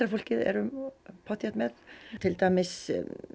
fólkið erum pottþétt með til dæmis